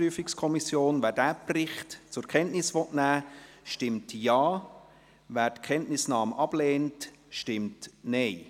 Wer diesen Bericht zur Kenntnis nehmen will, stimmt Ja, wer die Kenntnisnahme ablehnt, stimmt Nein.